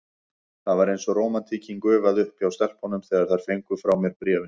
Það var eins og rómantíkin gufaði upp hjá stelpunum, þegar þær fengu frá mér bréfin.